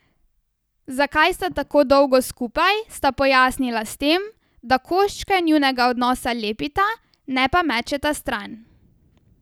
Zakaj sta tako dolgo skupaj, sta pojasnila s tem, da koščke njunega odnosa lepita, ne pa mečeta stran.